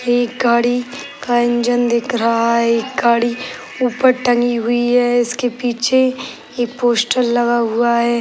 एक गाड़ी का इंजन दिख रहा है। एक गाड़ी ऊपर टंगी हुई है। इसके पीछे एक पोस्टर लगा हुआ है।